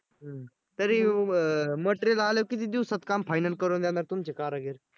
हं तरी material आल्यावर किती दिवसात काम final करून देणार तुमचे कारागीर?